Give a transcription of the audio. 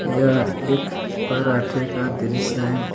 यह एक पराठे का दृश्य है।